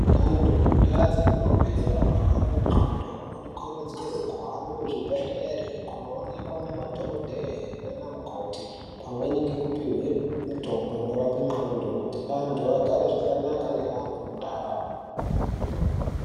Antu mundau dza tinobve ano rwara ne ndxondo vano kurudzirwe kuhambe ku zvi bhedhleri kuno onekwa nema dhokodheye nana mukoti pamweni ngeku pihwe mitombo ino rape ndxondo kuti antu agare zvakanaka ne amwe mundau.